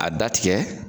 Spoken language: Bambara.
A da tigɛ